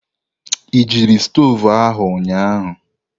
Ị jiri stovu ahụ ụnyahụ?